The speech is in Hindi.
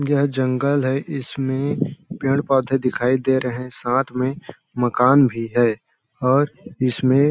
यह जंगल है इसमें पेड़ पौधे दिखाई दे रहे हैं साथ में मकान भी है और इसमें --